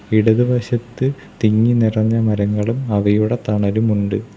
ഇടതുവശത്ത് തിങ്ങിനിറഞ്ഞ മരങ്ങളും അവയുടെ തണലുമുണ്ട്.